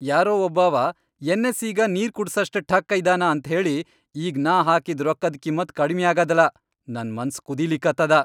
ಯಾರೋ ಒಬ್ಬಾವ ಎನ್. ಎಸ್.ಇ.ಗ ನೀರ್ ಕುಡಸಷ್ಟ್ ಠಕ್ಕ ಇದ್ದಾನ ಅಂತ್ಹೇಳಿ ಈಗ್ ನಾ ಹಾಕಿದ್ ರೊಕ್ಕದ್ ಕಿಮ್ಮತ್ ಕಡಿಮ್ಯಾಗಾದಲಾ ನನ್ ಮನ್ಸ್ ಕುದೀಲಿಕತ್ತದ.